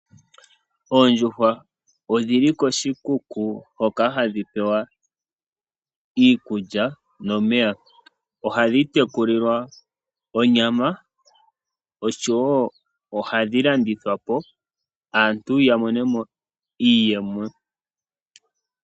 Oondjuhwa odhi li koshikuku hoka hadhi pewa iikulya nomeya. Ohadhi tekulilwa onyama oshowo ohadhi landithwa po aantu ya mone mo iiyemo.